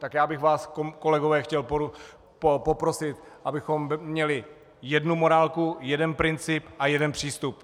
Tak já bych vás, kolegové, chtěl poprosit, abychom měli jednu morálku, jeden princip a jeden přístup.